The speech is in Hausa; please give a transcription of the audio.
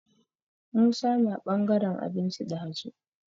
Musa na ɓangaran abinci ɗazu.